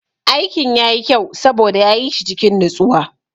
Aikin yayi kyau saboda ya yi shi cikin natsuwa.